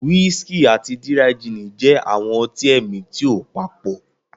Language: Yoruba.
Whiskey ati díráíjìnì jẹ awọn ọtí ẹmi ti o papo